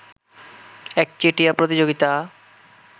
একচেটিয়া প্রতিযোগিতা